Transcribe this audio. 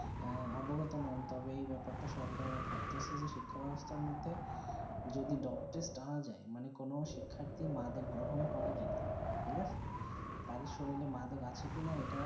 আহ অবগত মানতে তবে যেই বেপারে তা সরকারের ভাবতেছে যে শিক্ষা বেবস্তা মধ্যে যদি ডোব টেস্ট আনা যায় মানে কোনো শিক্ষার্তী মাদক গ্রহণ করে কি না ঠিক আচ্ছে তাদের সরিলে মাদক আছে কি না যেটা